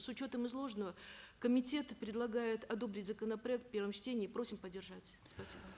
с учетом изложенного комитет предлагает одобрить законопроект в первом чтении и просим поддержать спасибо